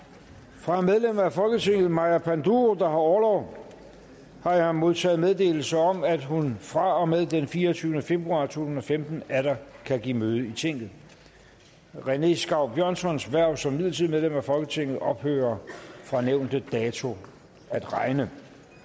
fra medlem af folketinget maja panduro der har orlov har jeg modtaget meddelelse om at hun fra og med den fireogtyvende februar to tusind og femten atter kan give møde i tinget rené skau björnssons hverv som midlertidigt medlem af folketinget ophører fra nævnte dato at regne